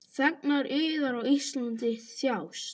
Þegnar yðar á Íslandi þjást.